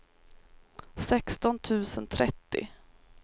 sexton tusen trettio